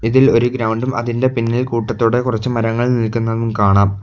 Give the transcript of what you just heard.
ഇതിൽ ഒരു ഗ്രൗണ്ടും അതിൻ്റെ പിന്നിൽ കൂട്ടത്തോടെ കൊറച്ച് മരങ്ങൾ നിൽക്കുന്നതും കാണാം.